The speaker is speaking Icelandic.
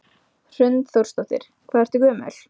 Hrund Þórsdóttir: Hvað ertu gömul?